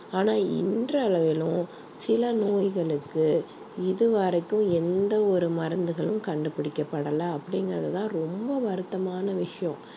ஆனா இன்றளவிலும் சில நோய்களுக்கு இது வரைக்கும் எந்த ஒரு மருந்துகளும் கண்டுபிடிக்கப்படல அப்படிங்கிறது தான் ரொம்ப வருத்தமான விஷயம்